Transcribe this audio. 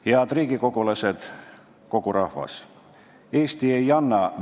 Head riigikogulased ja kogu rahvas!